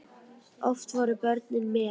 Oft voru börnin með.